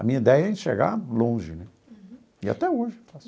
A minha ideia é enxergar longe né e até hoje faço.